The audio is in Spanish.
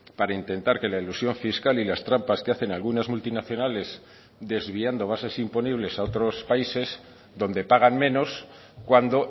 para intentar que la elusión fiscal y las trampas que hacen algunas multinacionales desviando bases imponibles a otros países donde pagan menos cuando